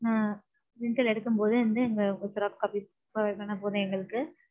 ஆ rental எடுக்கும் பொது வந்து எங்க ஒரு xerox copies குடுத்தீங்கனா போதும் எங்களுக்கு.